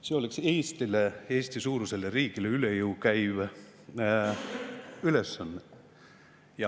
See oleks Eesti-suurusele riigile üle jõu käiv ülesanne.